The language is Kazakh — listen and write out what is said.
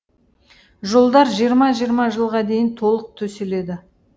жолдар жиырма жиырма жылға дейін толық төселеді